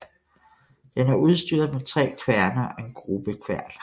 Den er udstyret med tre kværne og en grubbekværn